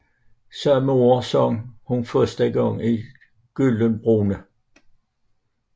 Samme år sang hun første gang i Glyndebourne